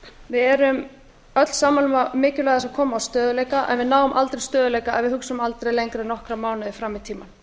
erum öll sammála um mikilvægi þess að fram á stöðugleika en við náum aldrei stöðugleika ef við hugsum aldrei lengra en nokkra mánuði fram í tímann við